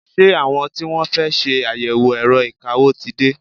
Ṣé àwọn tí wọ́n fẹ́ ṣe àyẹ̀wò ẹ̀rọ ìkawó ti dé?